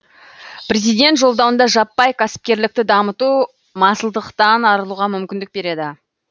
президент жолдауында жаппай кәсіпкерлікті дамыту масылдықтан арылуға мүмкіндік береді